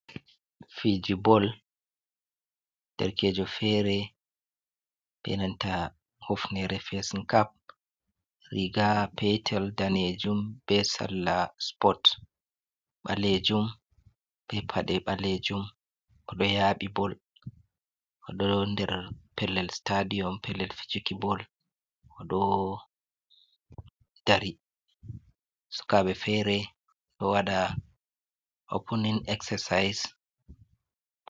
Fiji bol derkejo fere benanta hufne fesin cap, riga petel danejum, be salla spot ɓalejum, be paɗe ɓalejum, oɗo yaɓi bol oɗo nder pellel stadium pellel fijiki bol, o ɗo dari sukaɓɓe fere ɗo waɗa opunin exercise.